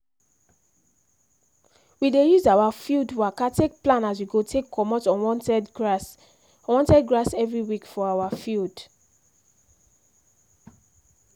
we dey use our field waka take plan as we go take comot unwanted grass unwanted grass every week for our field